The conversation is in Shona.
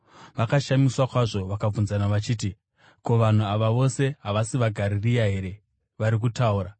Vakashamiswa kwazvo, vakabvunzana vachiti, “Ko, vanhu ava vose havasi vaGarirea here vari kutaura?